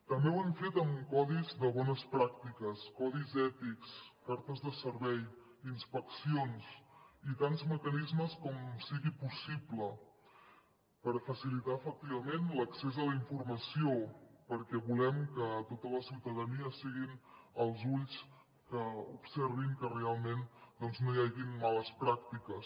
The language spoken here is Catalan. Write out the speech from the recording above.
també ho hem fet amb codis de bones pràctiques codis ètics cartes de servei inspeccions i tants mecanismes com sigui possible per facilitar efectivament l’accés a la informació perquè volem que tota la ciutadania siguin els ulls que observin que realment doncs no hi hagin males pràctiques